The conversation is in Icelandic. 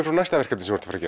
frá næsta verkefni sem þú ert að